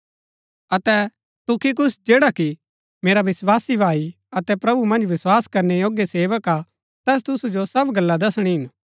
अतै तुखिकुस जैडा कि मेरा विस्वासी भाई अतै प्रभु मन्ज वस्‍वास करनै योग्य सेवक हा तैस तुसु जो सब गल्ला दसणी हिन